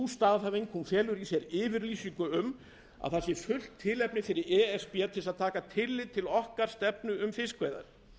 staðhæfing felur í sér yfirlýsingu um að það sé fullt tilefni fyrir e s b til að taka tillit til stefnu okkar um fiskveiðar